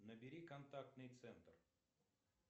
набери контактный центр